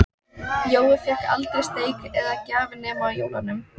Jói fékk aldrei steik eða gjafir nema á jólunum.